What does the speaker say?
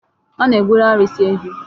A na-egburu arụsị a ehi.